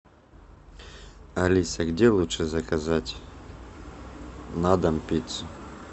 алиса где лучше заказать на дом пиццу